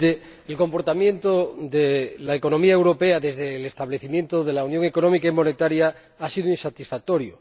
Señor Presidente, el comportamiento de la economía europea desde el establecimiento de la Unión Económica y Monetaria ha sido insatisfactorio.